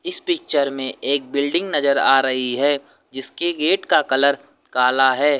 इस पिक्चर में एक बिल्डिंग नजर आ रही है जिसके गेट का कलर काला है।